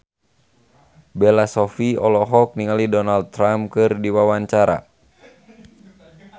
Bella Shofie olohok ningali Donald Trump keur diwawancara